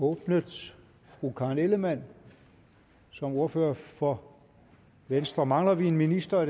åbnet fru karen ellemann som ordfører for venstre mangler vi en minister